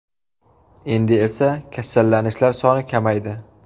Endi esa kasallanishlar soni kamaydi.